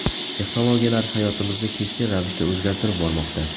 Texnologiyalar hayotimizni keskin ravishda o‘zgartirib bormoqda.